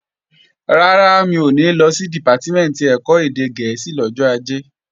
Rárá, mi ò ní lọ sí Dìpátímẹ̀ntì ẹ̀kọ́ èdè gẹ̀ẹ́sì lọ́jọ́ Ajé